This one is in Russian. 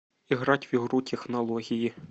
играть в игру технологии